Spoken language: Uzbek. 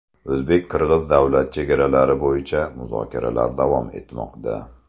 O‘zbek-qirg‘iz Davlat chegaralari bo‘yicha muzokaralar davom etmoqda.